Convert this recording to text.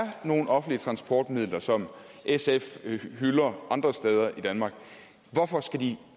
nogen offentlige transportmidler som sf hylder andre steder i danmark hvorfor skal de